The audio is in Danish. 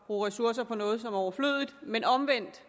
bruge ressourcer på noget som er overflødigt men omvendt